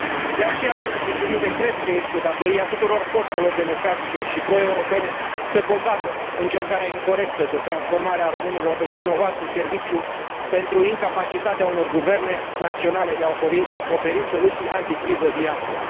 De aceea, domnule președinte, cred că este datoria tuturor forțelor democratice și proeuropene să combată încercarea incorectă de transformare a românilor în vinovați de serviciu pentru incapacitatea unor guverne naționale de a oferi soluții anticriză viabile.